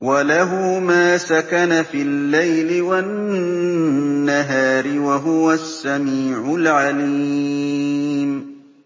۞ وَلَهُ مَا سَكَنَ فِي اللَّيْلِ وَالنَّهَارِ ۚ وَهُوَ السَّمِيعُ الْعَلِيمُ